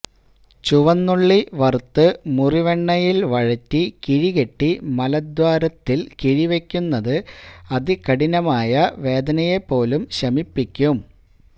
ചുവന്നുള്ളി വറുത്ത് മുറിവെണ്ണയില് വഴറ്റി കിഴികെട്ടി മലദ്വാരത്തില് കിഴിവെക്കുന്നത് അതികഠിനമായ വേദനയെപ്പോലും ശമിപ്പിക്കും